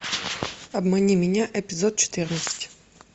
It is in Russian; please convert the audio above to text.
обмани меня эпизод четырнадцать